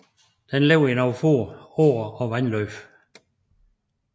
Den lever i nogle få åer og vandløb